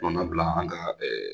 Kɔnɔna bila an ka